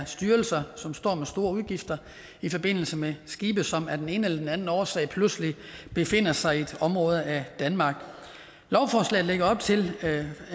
styrelser som står med store udgifter i forbindelse med skibe som af den ene eller den anden årsag pludselig befinder sig i et område af danmark lovforslaget lægger op til